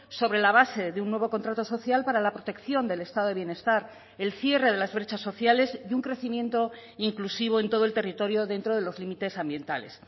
sobre la base de un nuevo contrato social para la protección del estado de bienestar el cierre de las brechas sociales y un crecimiento inclusivo en todo el territorio dentro de los límites ambientales